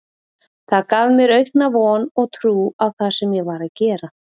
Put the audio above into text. Það gaf mér aukna von og trú á það sem ég var að gera.